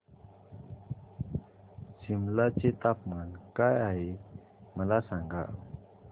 सिमला चे तापमान काय आहे मला सांगा